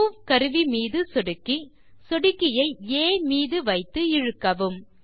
move கருவி மீது சொடுக்கி சொடுக்கியை ஆ மீது வைத்து இழுக்கவும்